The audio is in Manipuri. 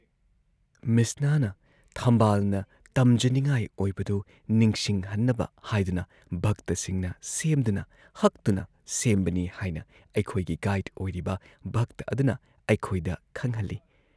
ꯃꯤꯠꯁꯅꯥꯅ ꯊꯝꯕꯥꯜꯅ ꯇꯝꯖꯅꯤꯡꯉꯥꯏ ꯑꯣꯏꯕꯗꯨ ꯅꯤꯡꯁꯤꯡꯍꯟꯅꯕ ꯍꯥꯏꯗꯨꯅ ꯚꯛꯇꯁꯤꯡꯅ ꯁꯦꯝꯗꯨꯅ ꯍꯛꯇꯨꯅ ꯁꯦꯝꯕꯅꯤ ꯍꯥꯏꯅ ꯑꯩꯈꯣꯏꯒꯤ ꯒꯥꯏꯗ ꯑꯣꯏꯔꯤꯕ ꯚꯛꯇ ꯑꯗꯨꯅ ꯑꯩꯈꯣꯏꯗ ꯈꯪꯍꯜꯂꯤ ꯫